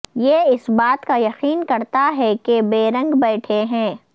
یہ اس بات کا یقین کرتا ہے کہ بیرنگ بیٹھے ہیں